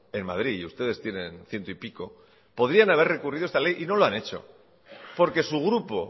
en madrid y ustedes tienen ciento y pico podrían haber recurrido esta ley y no lo han hecho porque su grupo